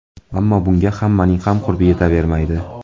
Ammo bunga hammaning ham qurbi yetavermaydi”.